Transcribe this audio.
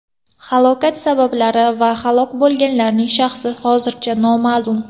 Halokat sabablari va halok bo‘lganlarning shaxsi hozircha noma’lum.